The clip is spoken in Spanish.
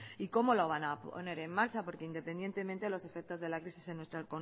y cómo lo van a poner en marcha porque independientemente a los efectos de la crisis en nuestra